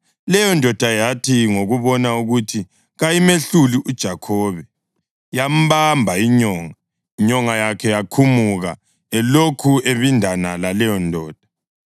Leyondoda yathi ngokubona ukuthi kayimehluli uJakhobe, yambamba inyonga, inyonga yakhe yakhumuka elokhu ebindana laleyondoda.